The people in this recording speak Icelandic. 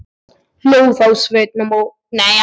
Hló þá Sveinn mót himninum og hrópaði: